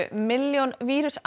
milljón